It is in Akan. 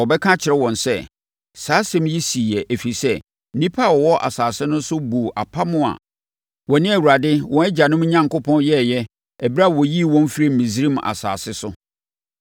Na wɔbɛka akyerɛ wɔn sɛ, “Saa asɛm yi siiɛ, ɛfiri sɛ, nnipa a wɔwɔ asase no so buu apam a wɔne Awurade, wɔn agyanom Onyankopɔn yɛeɛ ɛberɛ a ɔyii wɔn firii Misraim asase so.